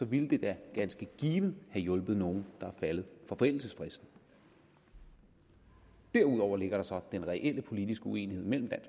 ville det da ganske givet have hjulpet nogle der er faldet for forældelsesfristen derudover ligger der så den reelle politiske uenighed mellem